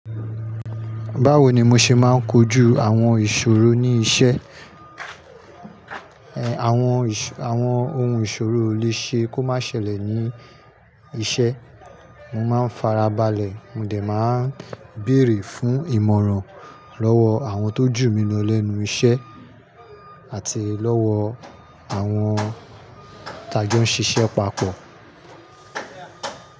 Báwo ni mo ṣe máa ń kojú àwọn ìṣòro ní iṣẹ́? Àwọn, àwọn ohun ìṣòro ó lè ṣe kó má ṣẹlẹ̀ ní iṣẹ́. Mo má ń farabalẹ̀, mo dè má ń bèèrè fún ìmọ̀ràn lọ́wọ́ àwọn tó jù mí lọ lẹ́nu iṣẹ́ àti lọ́wọ́ àwọn taa jọ ń ṣiṣẹ́ papọ.